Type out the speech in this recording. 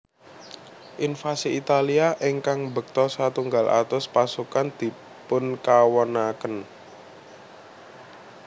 Invasi Italia ingkang mbekta setunggal atus pasukan dipunkawonaken